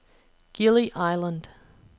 Gili Island